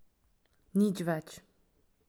Nič več.